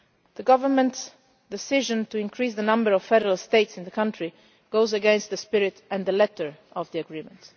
The government's decision to increase the number of federal states in the country goes against the spirit and the letter of the agreement.